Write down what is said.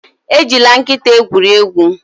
Ejila nkịta egwuri egwu